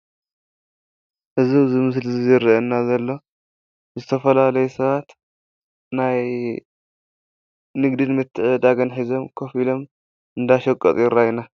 እዚ ኣብዚ ምስሊ እዚ ዝረአየና ዘሎ ዝተፈላለዩ ሰባት ናይ ንግድን ምትዕድዳግን ሒዞም ከፍ ኢሎም እንዳሸቀጡ ይረአዩና፡፡